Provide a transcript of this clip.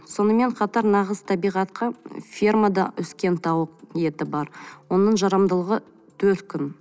сонымен қатар нағыз табиғатқа фермада өскен тауық еті бар оның жарамдылығы төрт күн